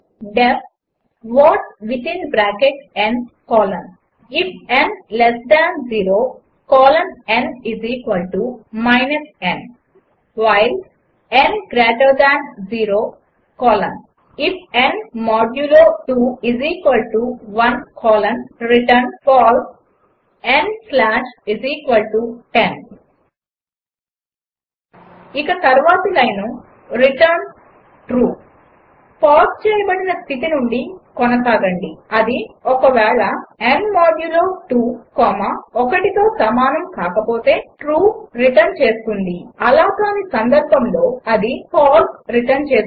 D E F what within bracket n colon IF n less than 0 colon n n while n greater than 0 colon IF n modulo 2 1 colon return false n slash 10 ఇక తర్వాతి line return true pause చేయబడిన స్థితి నుండి కొనసాగండి అది ఒక వేళ n modulo 2 1తో సమానం కాకపోతే ట్రూ రిటర్న్ చేస్తుంది అలా కాని సందర్భంలో అది ఫాల్స్ రిటర్న్ చేస్తుంది